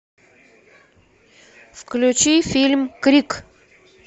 включи фильм крик